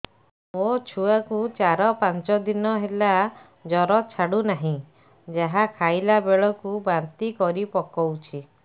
ମୋ ଛୁଆ କୁ ଚାର ପାଞ୍ଚ ଦିନ ହେଲା ଜର ଛାଡୁ ନାହିଁ ଯାହା ଖାଇଲା ବେଳକୁ ବାନ୍ତି କରି ପକଉଛି